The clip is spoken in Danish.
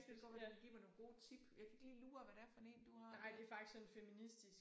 Det kan godt være du kan give mig nogle gode tip. Jeg kan ikke lige lure hvad det er en du har der